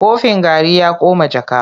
Kofin garri ya koma jaka.